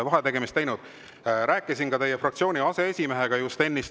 Rääkisin just ennist ka teie fraktsiooni aseesimehega.